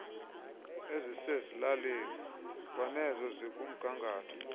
ezisezilalini kwanezo zikumgangatho